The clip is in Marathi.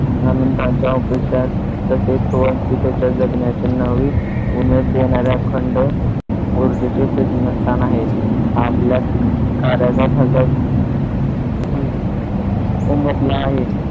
आनंद त्यांच्या ऑफिसात तसेच त्याच्या जगण्याची नवीन उमेद देणार-या खंड ऊर्जेचे प्रेरणास्थान आहे. आपल्या कार्याचा ठसा उम अह उमटला आहे.